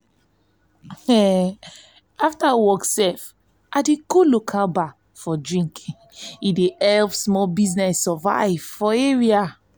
after work i go local bar for drink e help small business survive for for area.